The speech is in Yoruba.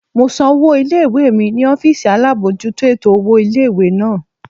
Mo san owó ilé-ìwé mi ní ọ́fìsì alábojútó ètò owó ilé-ìwé náà